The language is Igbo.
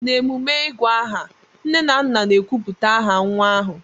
n'emume ịgù aha, nne na nna na-ekwupụta aha nwa ahụ